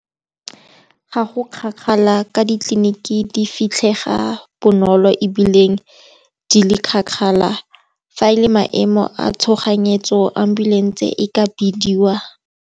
Ga go kgakala ka ditleliniki di fitlhega bonolo ebile di le kgakala. Fa e le maemo a tshoganyetso ambulance e ka bidiwa.